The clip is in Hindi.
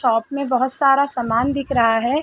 शॉप में बहुत सारा सामान दिख रहा है।